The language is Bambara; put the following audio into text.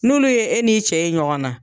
N'olu ye e n'i cɛ ye ɲɔgɔn na